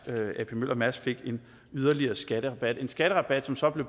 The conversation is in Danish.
at ap møller mærsk fik en yderligere skatterabat en skatterabat som så blev